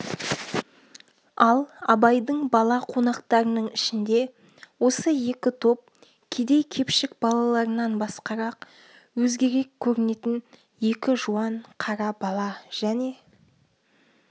ал абайдың бала қонақтарының ішінде осы екі топ кедей-кепшік балаларынан басқарақ өзгерек көрінетін екі жуан қара бала және